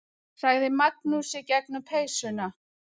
sagði Magnús í gegnum peysuna.